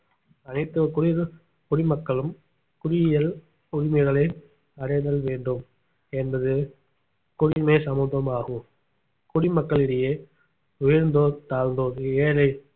அனைத்து குடி~ குடிமக்களும் குடியியல் உரிமைகளை அடைதல் வேண்டும் என்பது குடிமை சமத்துவமாகும் குடிமக்களிடையே உயர்ந்தோர் தாழ்ந்தோர் ஏழை